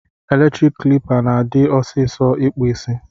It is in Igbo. Eletrik klipa na adi ọsisọ ikpụ isi.